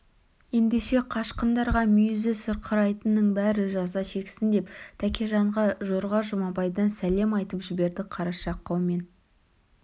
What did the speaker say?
ендеше қашқындарға мүйізі сырқырайтынның бәрі жаза шексін деп тәкежанға жорға жұмабайдан сәлем айтып жіберді қараша қаумен